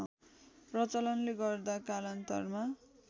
प्रचलनले गर्दा कालान्तरमा